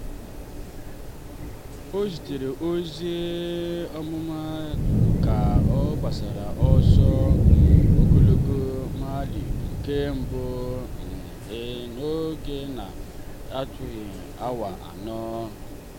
o zitere ozi mmelite ka ọ gbachara ọsọ um ogologo mailv nke mbụ um ya n'oge na-erughị awa anọ.